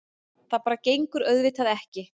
Það bara gengur auðvitað ekki.